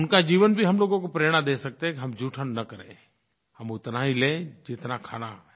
उनका जीवन भी हम लोगों को प्रेरणा दे सकता है कि हम जूठन न करेंI हम उतना ही लें जितना खाना है